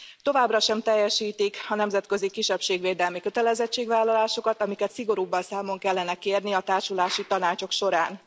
Továbbra sem teljesítik a nemzetközi kisebbségvédelmi kötelezettségvállalásokat, amiket szigorúbban számon kellene kérni a társulási tanácsok során.